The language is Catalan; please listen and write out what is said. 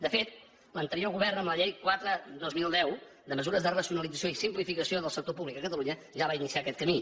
de fet l’anterior govern amb la llei quatre dos mil deu de mesures de racionalització i simplificació del sector públic a catalunya ja va iniciar aquest camí